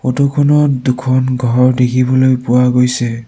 Photo খনত দুখন ঘৰ দেখিবলৈ পোৱা গৈছে।